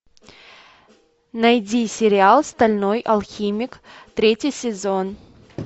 найди сериал стальной алхимик третий сезон